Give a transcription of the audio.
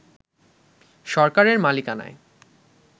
সরকারের মালিকানায়